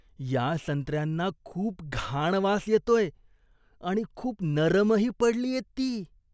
या संत्र्यांना खूप घाण वास येतोय आणि खूप नरमही पडलीयेत ती.